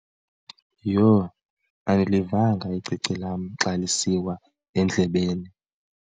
Yho! Andilivanga icici lam xa lisiwa endlebeni.